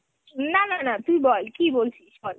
না না না তুই বল, কি বলছিস তুই বল।